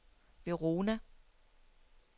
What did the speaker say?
Verona